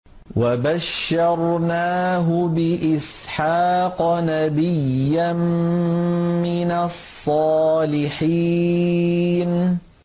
وَبَشَّرْنَاهُ بِإِسْحَاقَ نَبِيًّا مِّنَ الصَّالِحِينَ